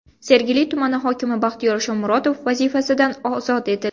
Sergeli tumani hokimi Baxtiyor Shomurotov vazifasidan ozod etildi.